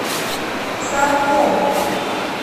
саркомп